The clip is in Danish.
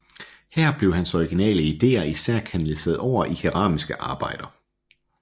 Her blev hans originale ideer især kanaliseret over i keramiske arbejder